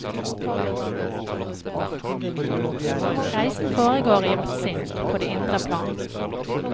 Reisen foregår i vårt sinn, på det indre plan.